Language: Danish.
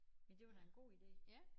Men det var da en god ide